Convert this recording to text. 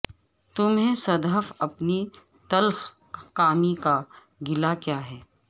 تمہیں صد حیف اپنی تلخ کامی کا گلہ کیا ہے